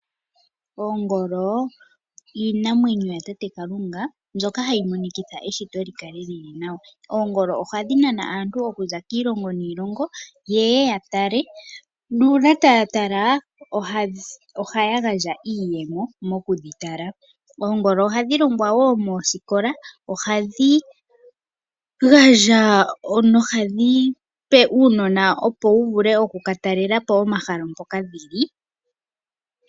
Oongolo iinamwenyo yatate Kalunga, mbyoka hayi monikitha eshito li kale li li nawa. Oongolo ohadhi nana aantu okuza kiilongo niilongo, yeye ya tale ,nuuna taya tala ohaya gandja iiyemo mokudhitala. Oongolo ohadhi longwa woo moosikola, ohadhi gandja no hadhi pe uunona opo wu vule okukatalela po omahala mpoka dhili.